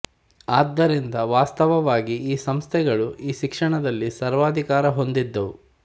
ಆದ್ದರಿಂದ ವಾಸ್ತವವಾಗಿ ಈ ಸಂಸ್ಥೆಗಳು ಈ ಶಿಕ್ಷಣದಲ್ಲಿ ಸರ್ವಾಧಿಕಾರ ಹೊಂದಿದ್ದುವು